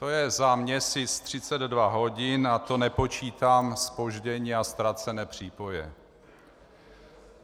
To je za měsíc 32 hodin a to nepočítám zpoždění a ztracené přípoje.